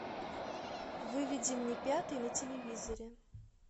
выведи мне пятый на телевизоре